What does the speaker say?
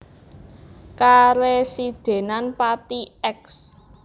Karesidenan Pati Eks